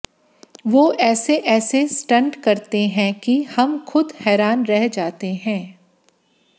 वो ऐसे ऐसे स्टंट करते हैं कि हम खुद हैरान रह जाते हैं